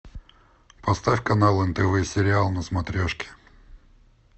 поставь канал нтв сериал на смотрешке